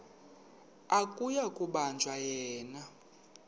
akuyi kubanjwa yena